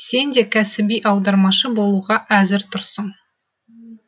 сен де кәсіби аудармашы болуға әзір тұрсың